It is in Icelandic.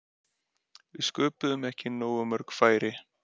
Við sköpuðum ekki nógu mörg færi.